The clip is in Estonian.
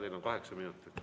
Teil on kaheksa minutit.